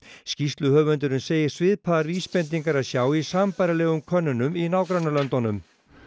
skýrsluhöfundurinn segir svipaðar vísbendingar að sjá í sambærilegum könnunum í nágrannalöndunum